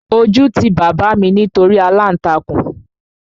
Ojú ti bàbá mi nítorí aláǹtakùn